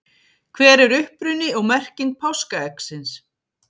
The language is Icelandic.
hver er uppruni og merking páskaeggsins